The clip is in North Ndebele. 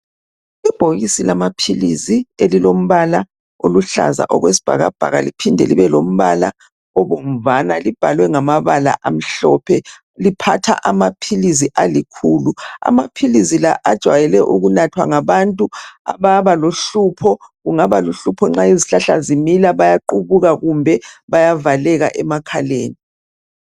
Ibhokisi lamapilisi elilombala oluhlaza okwesibhakabhaka liphinde libe lombala obomvana libhalwe ngabala amhlophe liphatha amapilizi alikhulu. Amapilizi la ajwayele ukunathwa ngabantu ababa lohlupho, kungaba luhlupho nxa izihlahla zihluma bayaqhubuka kumbe bayavaleka emakhaleni.